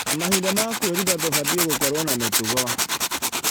Na mahinda ma kwĩruta tũbatie gũkorwo na mĩtugo.